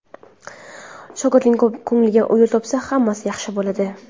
Shogirdining ko‘ngliga yo‘l topsa, hammasi yaxshi bo‘ladi.